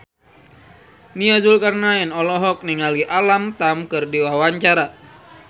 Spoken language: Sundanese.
Nia Zulkarnaen olohok ningali Alam Tam keur diwawancara